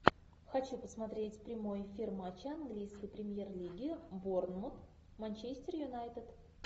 хочу посмотреть прямой эфир матча английской премьер лиги борнмут манчестер юнайтед